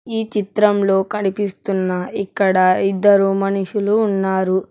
ఈ చిత్రంలో కనిపిస్తున్న ఇక్కడ ఇద్దరు మనుషులు ఉన్నారు.